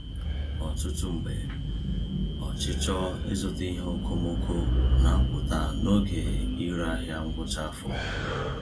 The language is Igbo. Ọtụtụ mgbe, ọchịchọ ịzụta ihe okomoko na-apụta n’oge ire ahịa ngwụcha afọ.